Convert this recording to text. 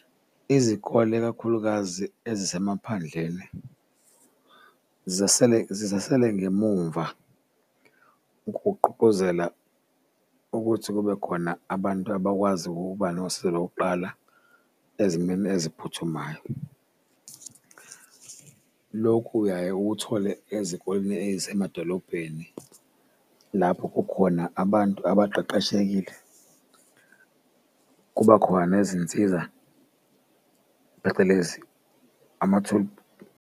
Izikole ikakhulukazi ezisemaphandleni zisele, zisasele ngemumva ukugqugquzela ukuthi kube khona abantu abakwazi ukuba nosizo lokuqala ezimeni eziphuthumayo. Lokhu uyaye ukuthole ezikoleni eyisemadolobheni lapho kukhona abantu abaqeqeshekile kuba khona nezinsiza, phecelezi .